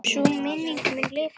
Sú minning mun lifa lengi.